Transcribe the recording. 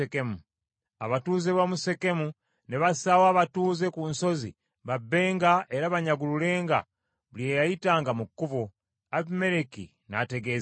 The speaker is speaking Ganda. Abatuuze b’omu Sekemu ne bassaawo abasajja ku nsozi babbenga era banyagululenga buli eyayitanga mu kkubo. Abimereki n’ategeezebwa.